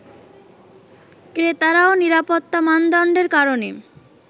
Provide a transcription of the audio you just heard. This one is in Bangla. ক্রেতারাও নিরাপত্তা মানদণ্ডের কারণে